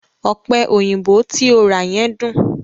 Ọ̀pẹ̀ òyìnbò tí o rà yẹn dùn.